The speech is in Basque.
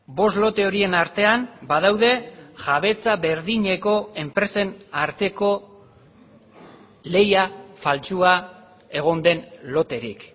bost lote horien artean badaude jabetza berdineko enpresen arteko lehia faltsua egon den loterik